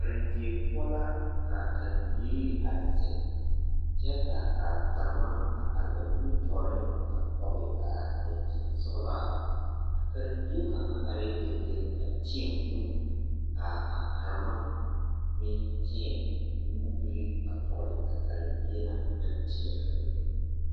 Karendie poɔ la ka a karembiiri a zeŋ kyɛ ka a karema a are ba nimitɔɔreŋ a kɔge a dankyini sɔgelaa, a karembie kaŋa arɛɛ dendeŋ a tēɛ o nu k'a karema meŋ tēɛ o nubiri a tɔgele a karembie na kaŋ tēɛ a o nu.